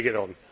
Bring it on.